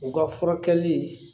U ka furakɛli